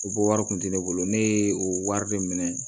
U bɔ wari kun tɛ ne bolo ne ye o wari de minɛ